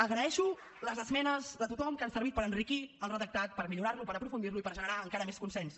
agraeixo les esmenes de tothom que han servit per enriquir el redactat per millorar lo per aprofundir lo i per generar encara més consens